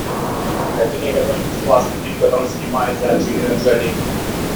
найди мне какой нибудь классный фильм в котором снимается анджелина джоли